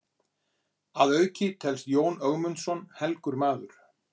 Að auki telst Jón Ögmundsson helgur maður.